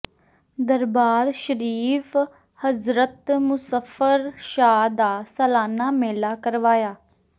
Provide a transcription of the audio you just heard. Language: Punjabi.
ਦਰਬਾਰ ਸ਼ਰੀਫ਼ ਹਜ਼ਰਤ ਮੁਸ਼ੱਰਫ਼ ਸ਼ਾਹ ਦਾ ਸਾਲਾਨਾ ਮੇਲਾ ਕਰਵਾਇਆ